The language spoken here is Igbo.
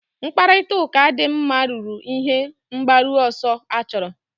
Mkparịta ụka dị mma ruru ihe mgbaru ọsọ achọrọ